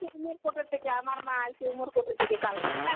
উমরকট এর থেকে আমার মা আইছে, উমরকট এর থেকে কালকে.